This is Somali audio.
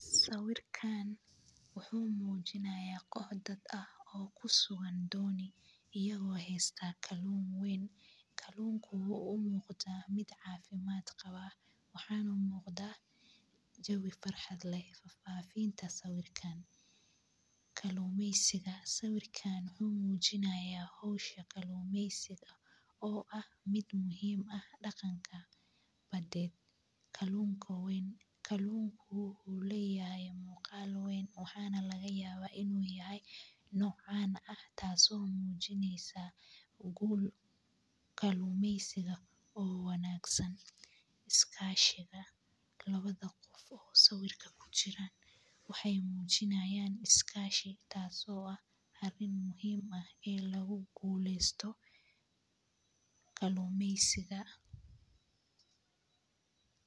Sawirkan wxu mijinaya qox dad kusugan doni iyago haysta kalun wen, kalunko oo u muqata mid cafimad qaba wxana muqda jawi farxad leh fafinta sawirkan kalumeysiga sawikan wxu mujinaya hisha kolumeysiga oo ah mid muhim ah daqanka baded kalunka wxu leyahay muqal wen wxana lagayaba in u yahay nocan tas oo ah tas oo mujineyan gul kalumeysiga oo wangsa, iskashi tas oo ah arin muhim ah guleysto kalumeysiga oo wanagsan